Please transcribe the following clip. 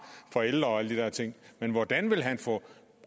for ældre og alle de der ting men hvordan vil han få